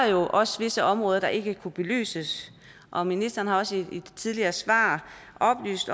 jo også visse områder der ikke kunne belyses og ministeren har også i et tidligere svar oplyst